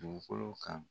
Dugukolo kan